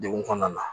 Degun kɔnɔna na